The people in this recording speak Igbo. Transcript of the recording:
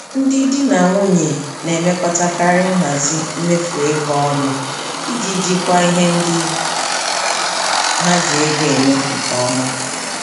Ndị di na nwunye na-emekọtakarị nhazi mmefu ego ọnụ iji jikwaa ihe ndị ha ji ego eme nke ọma.